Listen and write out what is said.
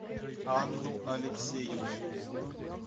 анну алексеевну